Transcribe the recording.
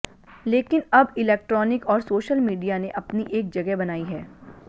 लेकिन अब इलेक्ट्रॉनिक और सोशल मीडिया ने अपनी एक जगह बनाई है